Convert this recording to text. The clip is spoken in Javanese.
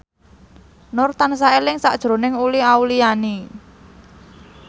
Nur tansah eling sakjroning Uli Auliani